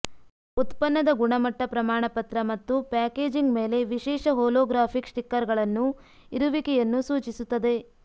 ಉತ್ಪನ್ನದ ಗುಣಮಟ್ಟ ಪ್ರಮಾಣಪತ್ರ ಮತ್ತು ಪ್ಯಾಕೇಜಿಂಗ್ ಮೇಲೆ ವಿಶೇಷ ಹೊಲೊಗ್ರಾಫಿಕ್ ಸ್ಟಿಕ್ಕರ್ಗಳನ್ನು ಇರುವಿಕೆಯನ್ನು ಸೂಚಿಸುತ್ತದೆ